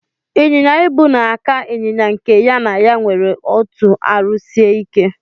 Inyinya-ibu na aka inyinya nke ya na ya nwere otụ arụ sike.